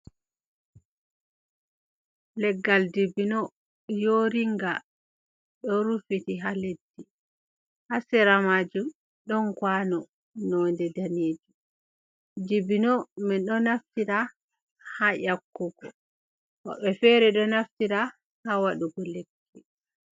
Leggal dibino yoringa do rufiti ha leddi ha sera maju don kwano nonde danejum dibino min do naftira ha yakkugo bo be fere ɗo naftira ha waɗugo lekki.